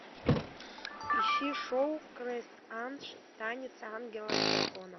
ищи шоу крест анж танец ангела с драконом